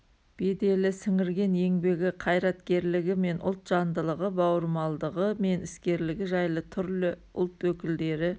беделі сіңірген еңбегі қайраткерлігі мен ұлт жандылығы бауырмалдығы мен іскерлігі жайлы түрлі ұлт өкілдері